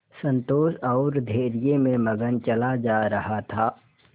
संतोष और धैर्य में मगन चला जा रहा था